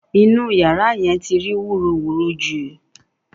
Inú yàrá yẹn ti rí wúruwùru jù